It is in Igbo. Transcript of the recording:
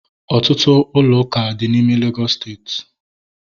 Ọtụtụ ụlọ ụka dị n'ime Legọs steeti